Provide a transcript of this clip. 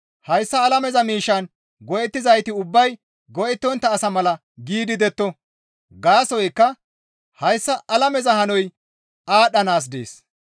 Hayssa alameza miishshan go7ettizayti ubbay go7ettontta asa mala gidi detto. Gaasoykka hayssa alameza hanoy aadhdhanaas dees.